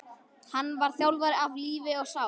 Hann var þjálfari af lífi og sál.